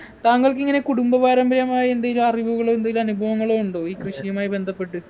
താങ്കൾക്കിങ്ങനെ കുടുംബപാരമ്പര്യമായി എന്തെങ്കിലും അറിവുകള് എന്തേലും അനുഭവങ്ങള് ഉണ്ടോ ഈ കൃഷിയുമായി ബന്ധപ്പെട്ട്